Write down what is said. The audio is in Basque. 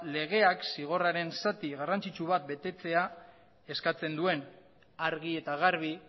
legeak zigorraren zati garrantzitsu bat betetzea eskatzen duen argi eta garbi